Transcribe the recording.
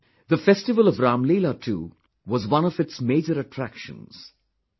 The festival of Ramleela too was one of its major attractions...